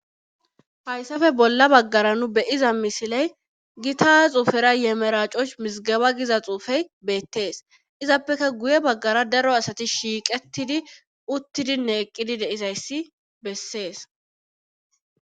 Hayssafe bolla baggara nu be7iza misiley gita xuufera ye meracooch mizggeba giza xuufey beettes. Izappeka giye baggara daro asati shiiqettidi uttidinne eqqidi de7izayssi bessees.